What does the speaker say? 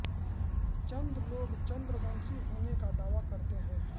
चन्द लोग चन्द्रवंशी होने का दावा करते हैं